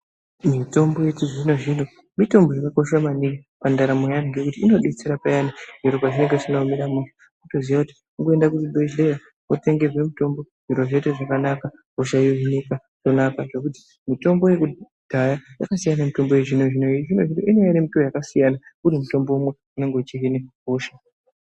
Mitombo yechizvino zvino mitombo yakakosha maningi mundaramo mweantu ngekuti inodetsera peyani pezvinenga zvisina kumira mushe. Unoziya kuti kungoenda kuchibhehleya wotenge mitombo zviro zvoita zvakanaka hosha yohinika zvakanakazve. Ponapa kuti mitombo yekudhaya yakasiyana nemitombo yechizvino zvino. Yechizvino zvino inouya iri yakasiyana uri mutombo umwe unenge uchihina hosha.